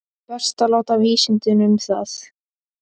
Best að láta vísindin um það.